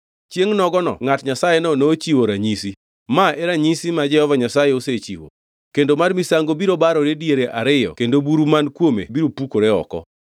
Chiengʼ nogono ngʼat Nyasayeno nochiwo ranyisi: “Ma e ranyisi ma Jehova Nyasaye osechiwo: Kendo mar misango biro barore diere ariyo kendo buru man kuome biro pukore oko.”